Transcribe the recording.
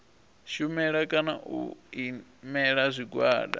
shumela kana u imela zwigwada